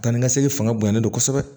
Ka ni segin fanga bonya ne bolo kosɛbɛ